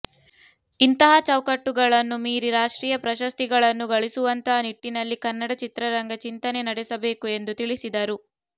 ಇಂತಹ ಚೌಕಟ್ಟುಗಳನ್ನು ಮೀರಿ ರಾಷ್ಟ್ರೀಯ ಪ್ರಶಸ್ತಿಗಳನ್ನು ಗಳಿಸುವಂತಹ ನಿಟ್ಟಿನಲ್ಲಿ ಕನ್ನಡ ಚಿತ್ರರಂಗ ಚಿಂತನೆ ನಡೆಸಬೇಕು ಎಂದು ತಿಳಿಸಿದರು